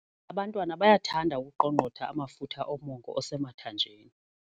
Abantwana bayathanda ukuqongqotha amafutha omongo osemathanjeni.